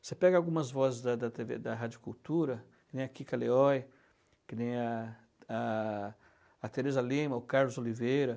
Você pega algumas vozes da da da tê vê da radio cultura, né que nem a Kika Leói, que nem a a aTereza Lima, o Carlos Oliveira.